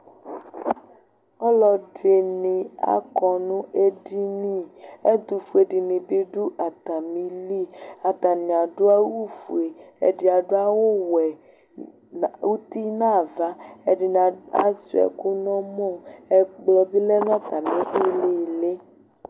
Ɔlɔdɩnɩ akɔ nʋ edini Ɛtʋfue dɩnɩ bɩ dʋ atamɩli Atanɩ adʋ awʋfue Ɛdɩ adʋ awʋwɛ na uti nʋ ava, ɛdɩnɩ asʋɩa ɛkʋ nʋ ɔmɔ Ɛkplɔ bɩ lɛ nʋ atamɩ ɩɩlɩ ɩɩlɩ